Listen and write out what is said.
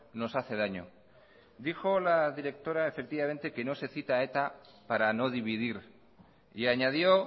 nos hace daño dijo la directora efectivamente que no se cita a eta para no dividir y añadió